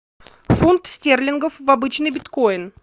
фунт стерлингов в обычный биткоин